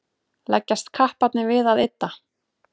leggjast kapparnir við að ydda